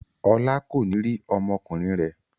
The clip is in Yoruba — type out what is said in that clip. Ọlá kò ní rí ọmọkùnrin rẹ̀.